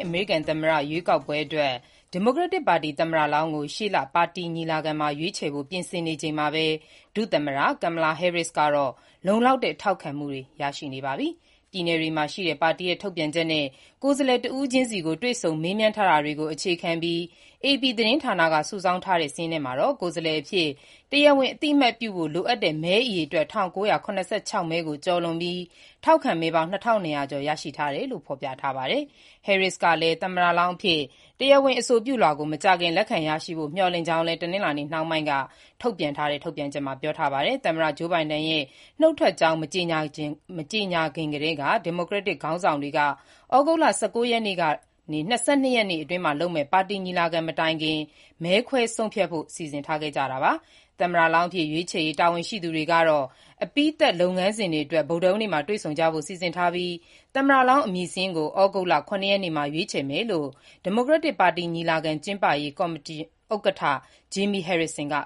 အမေရိကန် သမ္မတရွေးကောက်ပွဲအတွက် ဒီမိုကရက်တစ်ပါတီ သမ္မတလောင်းကို ရှေ့လ ပါတီညီလာခံမှာ ရွေးချယ်ဖို့ ပြင်ဆင်နေချိန်မှာပဲ ဒုသမ္မတ Kamala Harris ဟာ လုံလောက်တဲ့ ထောက်ခံမှုတွေ ရနေပါပြီ။ ပြည်နယ်တွေမှာရှိတဲ့ ပါတီရဲ့ထုတ်ပြန်ချက်တွေနဲ့ ကိုယ်စားလှယ်တဦးချင်းစီကို မေးမြန်းထား တာတွေကို အခြေခံပြီး AP သတင်းဌာနက စုဆောင်းထားပြီး၊ မနေ့နှောင်းပိုင်း ထုတ်ပြန်ခဲ့တဲ့ စာရင်းထဲမှာတော့ သမ္မတလောင်းအဖြစ် တရားဝင် အသိ အမှတ်ပြုဖို့ လိုအပ်တဲ့ ကိုယ်စားလှယ်မဲအရေအတွက် ၁,၉၇၆ မဲကို ကျော်လွန်ပြီး ထောက်ခံမဲ ၂,၂၀၀ ကျော်ရရှိထား တယ်လို့ ဖော်ပြထားပါတယ်။ ဒုသမ္မတ Harris ကလည်း သမ္မတလောင်းအဖြစ် မကြာခင် တရားဝင်လက်ခံဖို့ မျှော်လင့်ထားကြာင်း တနင်္လာနေ့နှောင်းပိုင်းက ထုတ်ပြန်ချက်မှာ ပြောထားပါတယ်။ သမ္မတ Joe Biden က ရွေးကောက်ပွဲမှာ မပြိုင်တော့ဖို့ မကြေညာခင်ကတည်းက ဩဂုတ်လ ၁၉ ရက်ကနေ ၂၂ ရင်အထိ လုပ်မယ့် ဒီမိုကရက်တစ်ပါတီညီလာခံမတိုင်ခင် အွန်လိုင်းကနေ မဲခွဲဆုံးဖြတ်ဖို့ ပါတီခေါင်းဆောင်တွေ စီစဉ်ထားခဲ့ကြတာပါ။ သမ္မတလောင်းအဖြစ် ရွေးချယ်ရေး တာဝန်ရှိသူတွေကတော့ အပြီးသတ်လုပ်ငန်းစဉ်တွေအတွက် ဗုဒ္ဓဟူးနေ့မှာ တွေ့ဆုံကြဖို့ စီစဉ်ထားပြီး၊ သမ္မတလောင်းကို သြဂုတ် ၇ ရက် နေ့မှာ ရွေးချယ်မယ်လို့ ဒီမိုကရက်တစ် အမျိုးသားညီလာခံ ကျင်းပရေး ကော်မတီ ဥက္ကဋ္ဌ Jaime Harrison က